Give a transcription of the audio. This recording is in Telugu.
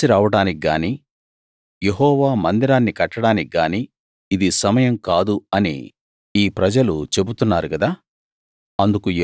మేము కలిసి రావడానికి గానీ యెహోవా మందిరాన్ని కట్టడానికి గానీ ఇది సమయం కాదు అని ఈ ప్రజలు చెబుతున్నారు కదా